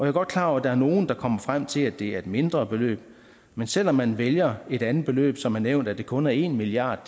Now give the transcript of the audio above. er godt klar over at der er nogle der kommer frem til at det er et mindre beløb men selv om man vælger et andet beløb som er nævnt at det kun er en milliard